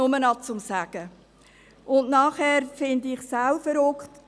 Und dann finde ich es auch verrückt: